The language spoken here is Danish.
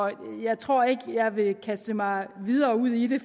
jeg tror ikke jeg vil kaste mig videre ud i det